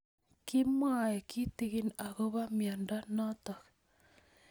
Kimwae kitig'in akopo miondo notok